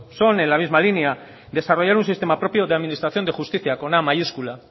son en la misma línea desarrollar un sistema propio de administración de justicia con a mayúscula